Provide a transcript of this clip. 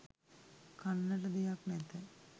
කන්නට දෙයක් නැත